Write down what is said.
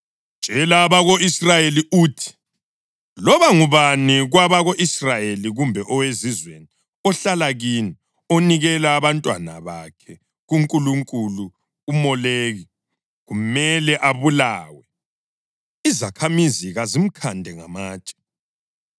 “Tshela abako-Israyeli uthi: ‘Loba ngubani kwabako-Israyeli kumbe owezizweni ohlala kini onikela abantwana bakhe kunkulunkulu uMoleki, kumele abulawe. Izakhamizi kazimkhande ngamatshe.